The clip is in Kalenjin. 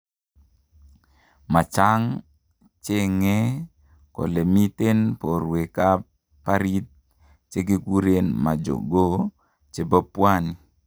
machaang chengee kole miten porwek ap barit che kekurenmajongoo chepo pwani